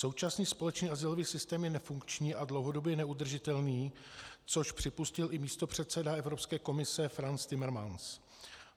Současný společný azylový systém je nefunkční a dlouhodobě neudržitelný, což připustil i místopředseda Evropské komise Frans Timmermans.